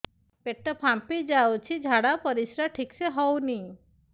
ପେଟ ଫାମ୍ପି ଯାଉଛି ଝାଡ଼ା ପରିସ୍ରା ଠିକ ସେ ହଉନି